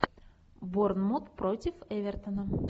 борнмут против эвертона